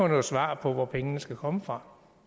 noget svar på hvor pengene skal komme fra